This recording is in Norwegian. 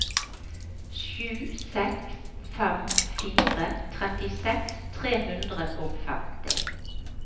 sju seks fem fire trettiseks tre hundre og femti